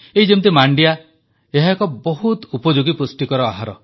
ଏଇ ଯେମିତି ମାଣ୍ଡିଆ ଏହା ଏକ ବହୁତ ଉପଯୋଗୀ ପୁଷ୍ଟିକର ଆହାର